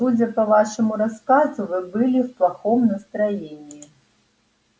судя по вашему рассказу вы были в плохом настроении